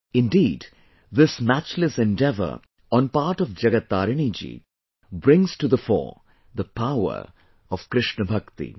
Indeed, this matchless endeavour on part of Jagat Tarini ji brings to the fore the power of KrishnaBhakti